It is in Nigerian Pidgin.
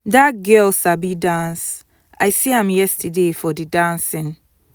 dat girl sabi dance i see am yesterday for the dancing